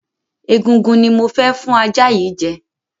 Egungun ni mo fẹ́ fún ajá yìí jẹ.